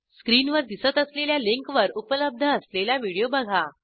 स्क्रीनवर दिसत असलेल्या लिंकवर उपलब्ध असलेला व्हिडिओ बघा